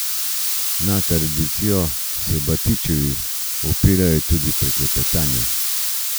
Na tradicijo se Batičevi opirajo tudi pri kletarjenju.